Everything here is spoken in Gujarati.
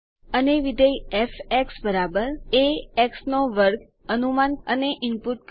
અને વિધેય f એ x2 અનુમાન અને ઇનપુટ કરો